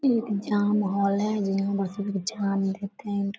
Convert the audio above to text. ये एक exam hall है जो एग्जाम देते हैं ये लोग।